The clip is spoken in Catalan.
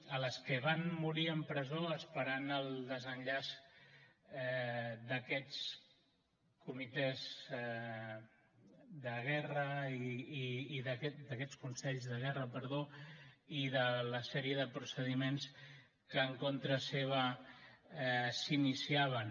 a les que van morir en presó esperant el desenllaç d’aquests consells de guerra i de la sèrie de procediments que en contra seu s’iniciaven